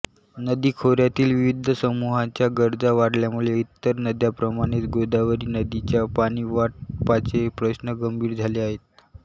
नदी खोऱ्यातील विविध समूहांच्या गरजा वाढल्यामुळे इतर नद्यांप्रमाणेच गोदावरी नदीच्या पाणीवाटपाचे प्रश्न गंभीर झाले आहेत